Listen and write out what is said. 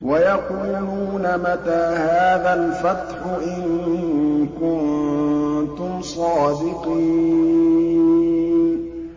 وَيَقُولُونَ مَتَىٰ هَٰذَا الْفَتْحُ إِن كُنتُمْ صَادِقِينَ